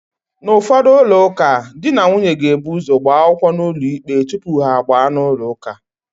N'ụfọdụ ụlọụka, di na nwunye ga-ebu ụ́zọ̀ gbaa akwụkwọ n'ụlọikpe tupu ha agbaa n'ụlọụka.